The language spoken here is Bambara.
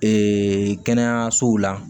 kɛnɛyasow la